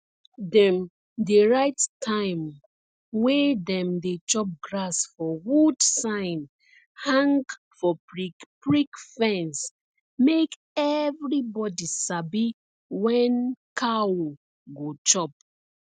dem dey write time wey dem dey chop grass for wood sign hang for prickprick fence make everybody sabi when cow go chop